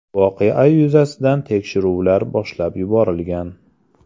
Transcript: Voqea yuzasidan tekshiruvlar boshlab yuborilgan.